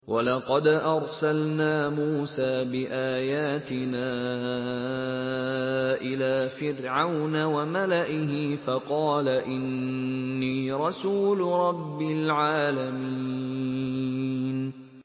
وَلَقَدْ أَرْسَلْنَا مُوسَىٰ بِآيَاتِنَا إِلَىٰ فِرْعَوْنَ وَمَلَئِهِ فَقَالَ إِنِّي رَسُولُ رَبِّ الْعَالَمِينَ